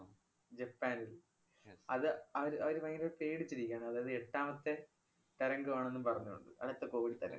ജപ്പാനില്‍ അത് അവര് അവര് ഭയങ്കര പേടിച്ചിരിക്കുകയാണ്. അതായത് എട്ടാമത്തെ തരംഗമാണെന്നും പറഞ്ഞുകൊണ്ട്. അവിടത്തെ covid തരംഗം.